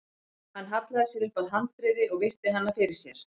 Hann hallaði sér upp að handriði og virti hana fyrir sér.